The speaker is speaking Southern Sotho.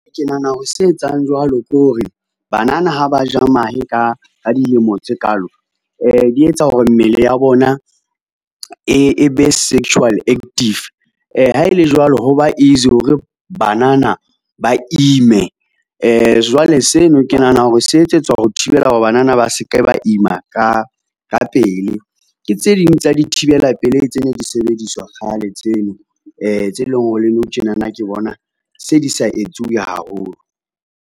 Ke nahana hore se etsang jwalo ke hore banana ha ba ja mahe ka dilemo tse kaalo, di etsa hore mmele ya bona e be sexual active. Ha ele jwalo, hoba easy hore banana ba ime. Jwale seno, ke nahana hore se etsetswa ho thibela hore banana ba seke ba ima ka pele. Ke tse ding tsa dithibela pelehi tse ne di sebediswa kgale tseno tse leng hore le nou tjenana ke bona se di sa etsuwe haholo.